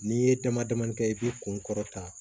N'i ye dama damanin kɛ i bɛ kun kɔrɔta